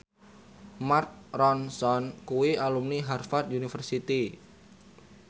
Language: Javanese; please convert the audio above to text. Mark Ronson kuwi alumni Harvard university